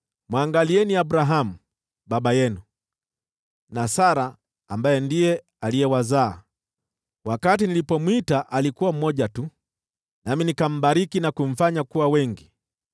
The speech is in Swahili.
mwangalieni Abrahamu, baba yenu, na Sara, ambaye aliwazaa. Wakati nilipomwita alikuwa mmoja tu, nami nikambariki na kumfanya kuwa wengi.